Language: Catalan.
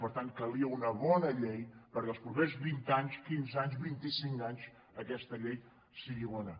per tant calia una bona llei per·què els propers vint anys quinze anys vint·i·cinc anys aquesta llei sigui bona